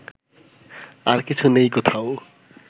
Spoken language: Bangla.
আর কিছু নেই কোথাও